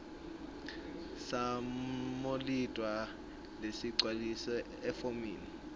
samondliwa lesigcwalisiwe efomini